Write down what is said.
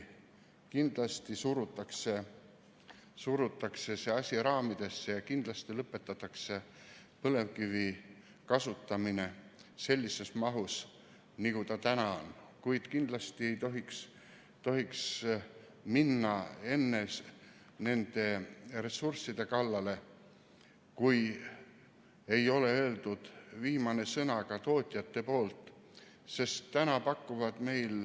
Kindlasti surutakse see asi raamidesse ja lõpetatakse põlevkivi kasutamine sellises mahus, nagu ta täna on, kuid kindlasti ei tohiks minna enne nende ressursside kallale, kui ei ole öeldud viimane sõna ka tootjate poolt.